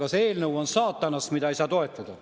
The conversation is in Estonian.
Aga see eelnõu on saatanast, seda ei saa toetada.